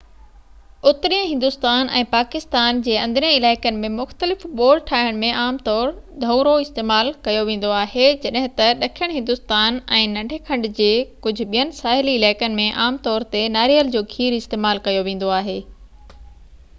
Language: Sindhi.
اترئين هندستان ۽ پاڪستان جي اندرين علائقن ۾ مختلف ٻوڙ ٺاهڻ ۾ عام طور ڌونئرواستعمال ڪيو ويندو آهي جڏهن ته ڏکڻ هندستان ۽ ننڍي کنڊ جي ڪجهه ٻين ساحلي علائقن ۾ عام طور تي ناريل جو کير استعمال ڪيو ويندو آهي